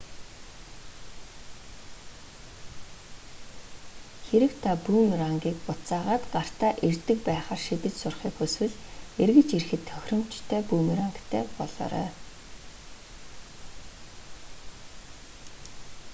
хэрэв та бүүмерангийг буцаагаад гартаа ирдэг байхаар шидэж сурахыг хүсвэл эргэж ирэхэд тохиромжтой бүүмерангтай болоорой